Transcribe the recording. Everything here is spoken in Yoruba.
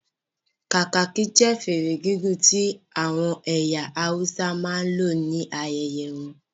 Kakaki jẹ́ fèrè gígùn tí àwọn ẹyà Hausa máa ń ní ayẹyẹ won